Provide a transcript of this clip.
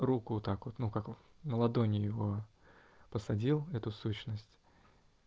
руку так вот ну как на ладони его посадил эту сущность